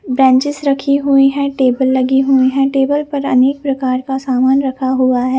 Benches रखे हुई है टेबल लगी हुई है टेबल पर अनेक प्रकार का सामान रखा हुआ है।